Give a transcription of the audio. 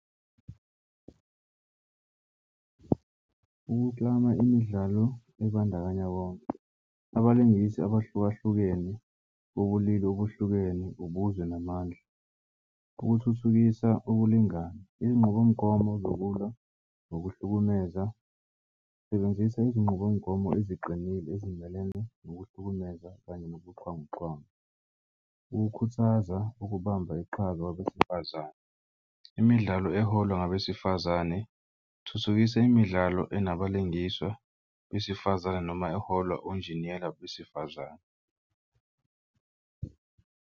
Ukuklama imidlalo ebandakanya bonke abalingisi abahlukahlukene bobulili obuhlukene ubuzwe namandla, ukuthuthukisa ukulingana izinqubomgomo zokulwa nokuhlukumeza. Sebenzisa izinqubomgomo eziqinile ezindleleni nokuhlukumeza kanye nobuxhanguxhwangu. Ukukhuthaza ukubamba iqhaza kwabesifazane imidlalo eholwa ngabesifazane thuthukisa imidlalo enabalingiswa besifazane noma eholwa onjiniyela besifazane.